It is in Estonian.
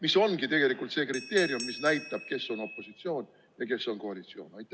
See ongi tegelikult see kriteerium, mis näitab, kes on opositsioonis ja kes on koalitsioonis.